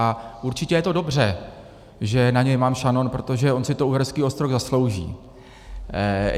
A určitě je to dobře, že na něj mám šanon, protože on si to Uherský Ostroh zaslouží.